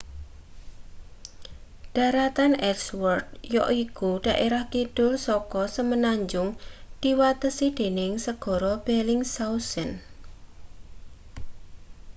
dharatan ellsworth yaiku daerah kidul saka semenanjung diwatesi dening segara bellingshausen